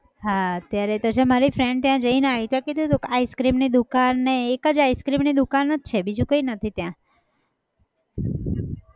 હા અત્યારે તો છે મારી friend ત્યાં જઈને આવી તો કીધું હતું ice cream ની દુકાનને એક જ ice cream દુકાન જ છે બીજું કઈ નથી ત્યાં